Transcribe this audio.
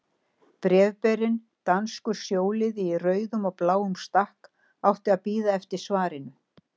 Bréfberinn, danskur sjóliði í rauðum og bláum stakk, átti að bíða eftir svarinu.